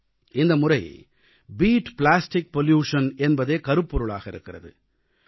இந்தமுறை beat plastic pollution beat plastic pollution என்பதே கருப்பொருளாக இருக்கிறது